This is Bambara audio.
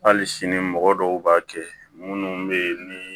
Hali sini mɔgɔ dɔw b'a kɛ munnu be yen ni